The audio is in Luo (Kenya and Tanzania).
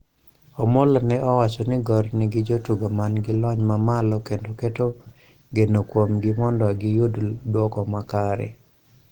Omolo ne owacho ni Gor nigi jotugo mangi lony mamalo kendo keto geno kuomgi mondo gi yud duoko makare